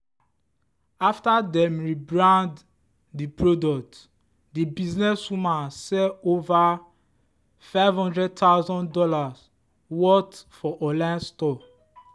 after dem rebrand the product the businesswoman sell over fifty thousand dollars0 worth for online store.